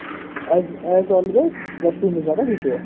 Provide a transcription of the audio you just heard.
as always west indies ବାଲା ଜିତିବ